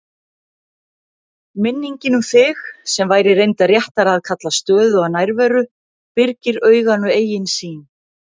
Minningin um þig, sem væri reyndar réttara að kalla stöðuga nærveru, byrgir auganu eigin sýn.